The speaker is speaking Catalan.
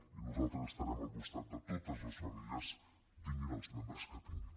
i nosaltres estarem al costat de totes les famílies tinguin els membres que tinguin